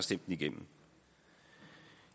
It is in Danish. den igennem